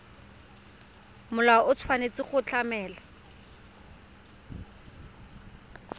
molao o tshwanetse go tlamela